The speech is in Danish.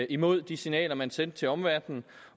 imod de signaler man sendte til omverdenen